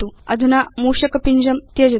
अधुना मूषक पिञ्जं त्यजतु